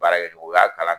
Baarakɛ o y'a kalan